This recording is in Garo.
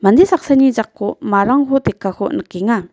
mande saksani jako marangko tekako nikenga.